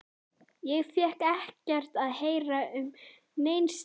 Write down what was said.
Ég fékk ekkert að heyra um nein skilyrði.